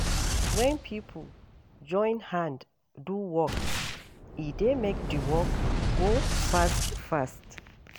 Wen pipo join hand do work, e dey make di work go fast-fast.